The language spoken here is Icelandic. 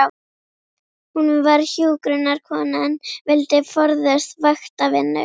Hún var hjúkrunarkona en vildi forðast vaktavinnu.